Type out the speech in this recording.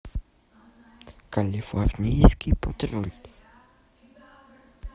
калифорнийский патруль